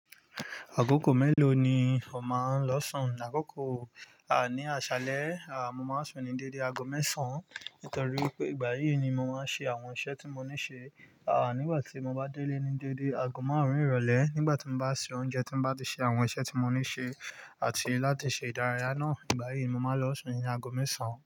Àkókò mélòó ni o máa ń lọ sùn? Àkókò, ah, ní àṣálẹ́, ah, mo máa sùn ní déédé agogo mẹ́sàn nítorí pé ìgbà yí ni mo máa ń ṣe àwọn iṣẹ́ tí mo ní ṣe. Ah, nígbà tí mo bá délé ní déédé agogo márùn ìrọ̀lẹ́, nígbà tí mo bá se oúnjẹ, tí mo bá ti ṣe àwọn iṣẹ́ tí mo ní ṣe àti láti ṣe ìdárayá náà. Ìgbà yí ni mo máa lọ sùn ní agogo mẹ́sàn.